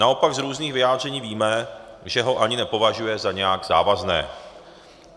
Naopak z různých vyjádření víme, že ho ani nepovažuje za nějak závazné.